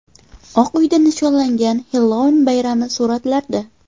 Oq uyda nishonlangan Xellouin bayrami suratlarda.